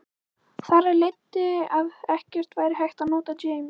Þar af leiddi að ekki væri hægt að nota James